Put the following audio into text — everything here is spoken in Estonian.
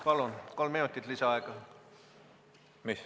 Palun, kolm minutit lisaaega!